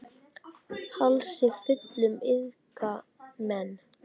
Hálsi fullum iðka menn.